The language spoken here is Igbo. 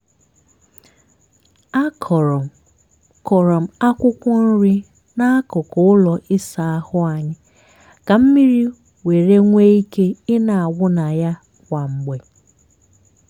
a kọrọ kọrọ m akwụkwọ nri n'akụkụ ụlọ ịsa ahụ anyị ka mmiri were nwee ike ị na-awụ na ya kwa mgbe.